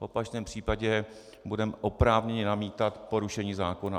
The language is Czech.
V opačném případě budeme oprávněni namítat porušení zákona.